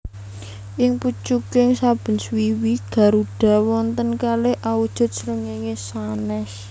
Ing pucuking saben swiwi garuda wonten kalih awujud srengéngé sanès